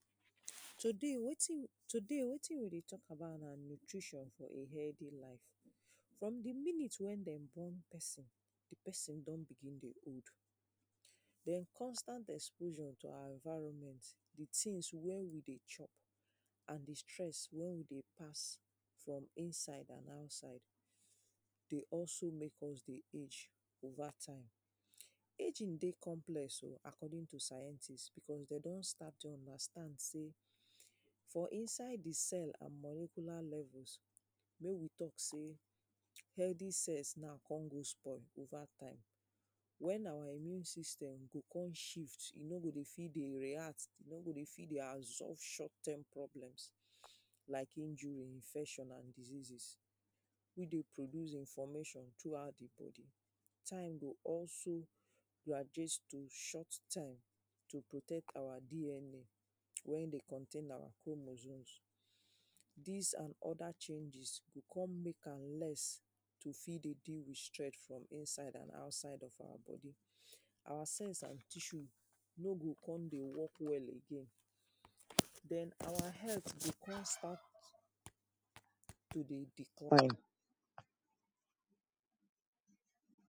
Today wetin, today wetin we dey talk about na nutrition for a healthy life, from di minute wey dem born pesin di pesin don begin dey old, den constant exposure to our environment di tins wet we dey chop and di stress wey we dey pass from inside and outside dey also make us dey age over time. Ageing dey complex oh according to scientists becos dey don start to understand sey for inside di cell and moricular levels make we talk sey healthy cells now kon go spoil over time wen our immune system go kon shift e no go fit dey react, e no go fit dey absorb short term problems like injury, infection and diseases wey dey produce information throughout di body, time go also graduate to short time to protect our DNA wey dey contain our chromosomes. Dis and oda changes go kon make am less to fit dey deal with strength from inside and outside of our body our sense and tissue no go kon dey work well again den our health go kon start to dey decline.